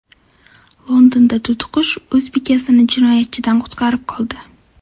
Londonda to‘tiqush o‘z bekasini jinoyatchidan qutqarib qoldi.